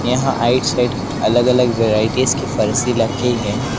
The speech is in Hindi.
यहां राइट साइड अलग अलग वैराइटीज की फर्शें रखी हैं।